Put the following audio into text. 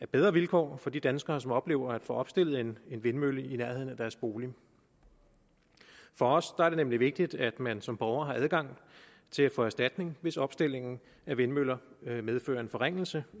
bedre vilkår for de danskere som oplever at få opstillet en vindmølle i nærheden af deres bolig for os er det nemlig vigtigt at man som borger har adgang til at få erstatning hvis opstillingen af vindmøller medfører en forringelse